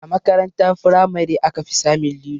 A makaranta firamare aka fi samun lilo